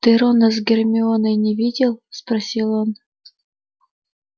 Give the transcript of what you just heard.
ты рона с гермионой не видел спросил он